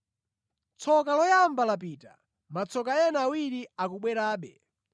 Tsoka loyamba lapita; matsoka ena awiri akubwerabe.